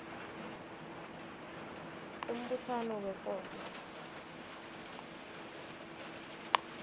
umbutsano wefoso